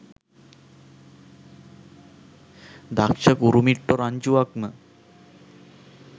දක්ෂ කුරුමිට්ටෝ රංචුවක්ම.